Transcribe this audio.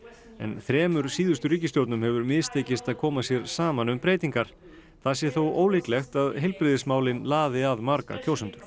þremur síðustu ríkisstjórnum hefur mistekist að koma sér saman um breytingar það sé þó ólíklegt að heilbrigðismálin laði að marga kjósendur